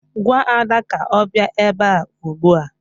Gwa Ada ka ọ bịa ebe a ugbu a!